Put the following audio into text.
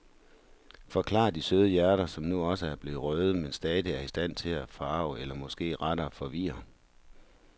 Forklarer de søde hjerter, som nu også er blevet røde, men stadigvæk er i stand til at forarge eller måske rettere forvirre.